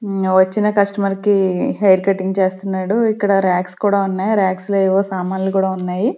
ఉమ్మ్ వచ్చిన కస్టమర్ కి హెయిర్ కటింగ్ చేస్తున్నాడు. ఇక్కడ ర్యాక్స్ కూడా ఉన్నాయి ర్యాక్స్ లో ఏవో సామాన్లు కూడా ఉన్నాయి.